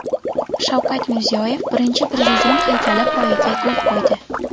Shavkat Mirziyoyev Birinchi Prezident haykali poyiga gul qo‘ydi.